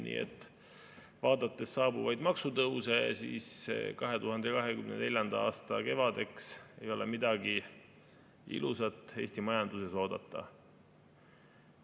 Nii et vaadates saabuvaid maksutõuse, 2024. aasta kevadeks ei ole midagi ilusat Eesti majanduses oodata.